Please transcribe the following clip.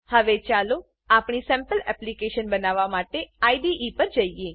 હવે ચાલો આપણી સેમ્પલ એપ્લીકેશન બનાવવા માટે આઇડીઇ પર જઈએ